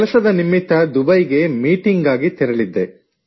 ಕೆಲಸದ ನಿಮಿತ್ತ ದುಬೈಗೆ ಮೀಟಿಂಗ್ ಗಾಗಿ ತೆರಳಿದ್ದೆ